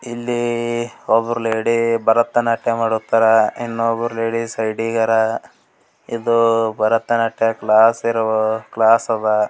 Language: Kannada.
ಇಲ್ಲಿ ಒಬ್ರು ಲೇಡಿ ಭರತನಾಟ್ಯ ಮಾಡುತ್ತಾರೆ ಇನ್ನೊಬ್ರು ಲೇಡೀಸ್ ಸೈಡಿಗರ್ ಇದು ಭರತನಾಟ್ಯ ಕ್ಲಾಸ್ ಇರುವ ಕ್ಲಾಸ್ ಅದ್.